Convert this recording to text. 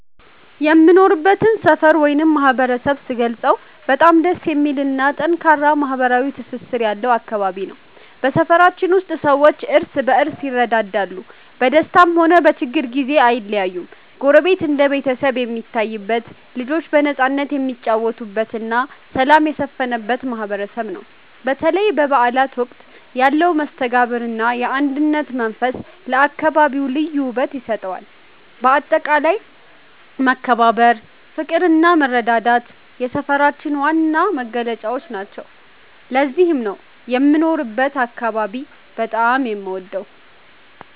የምኖርበትን ሰፈር ወይም ማህበረሰብ ስገልጸው በጣም ደስ የሚልና ጠንካራ ማህበራዊ ትስስር ያለው አካባቢ ነው። በሰፈራችን ውስጥ ሰዎች እርስ በርስ ይረዳዳሉ፤ በደስታም ሆነ በችግር ጊዜ አይለያዩም። ጎረቤት እንደ ቤተሰብ የሚታይበት፣ ልጆች በነፃነት የሚጫወቱበትና ሰላም የሰፈነበት ማህበረሰብ ነው። በተለይ በበዓላት ወቅት ያለው መስተጋብርና የአንድነት መንፈስ ለአካባቢው ልዩ ውበት ይሰጠዋል። በአጠቃላይ መከባበር፣ ፍቅርና መረዳዳት የሰፈራችን ዋና መገለጫዎች ናቸው። ለዚህም ነው የምኖርበትን አካባቢ በጣም የምወደው።